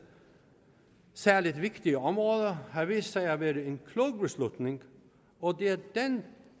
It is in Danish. særlig vigtige områder har vist sig at være en klog beslutning og det er den